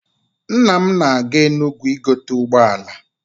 Nna m na-aga Enugwu igote ụgbọala.